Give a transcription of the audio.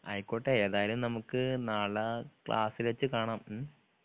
അയ്‌ക്കോട്ടെ ഏതായാലും നമുക്ക് നാളെ ക്ലാസ്സില് വെച്ച് കാണാം ഉം